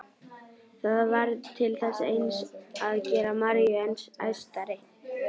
Það varð til þess eins að gera Maríu enn æstari.